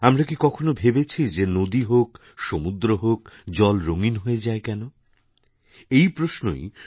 আমরা কি কখনও ভেবেছি যেনদী হোক সমুদ্র হোক জল রঙিন হয়ে যায় কেন এই প্রশ্নই